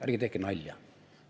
Ärge tehke nalja!